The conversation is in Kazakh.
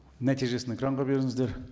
нәтижесін экранға беріңіздер